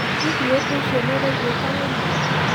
Hihi ũndũ ũcio nĩ ũraigwĩka wĩ mũru?